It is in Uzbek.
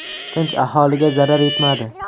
Tinch aholiga zarar yetmadi.